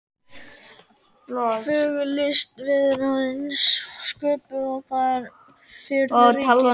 Fögur list verður aðeins sköpuð þar sem friður ríkir.